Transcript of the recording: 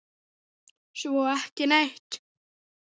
Svo ekki neitt.